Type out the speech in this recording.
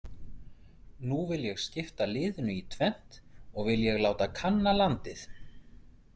Nú vil ég skipta liðinu í tvennt og vil ég láta kanna landið.